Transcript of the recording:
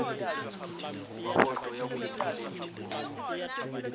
wa boto ya boipiletšo o